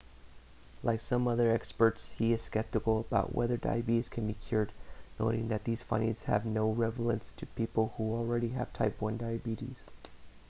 like some other experts he is skeptical about whether diabetes can be cured noting that these findings have no relevance to people who already have type 1 diabetes